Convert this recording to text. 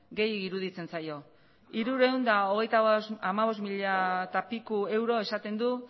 gehiegi iruditzen zaio hirurehun eta hogeita hamabost mila eta piko euro esaten du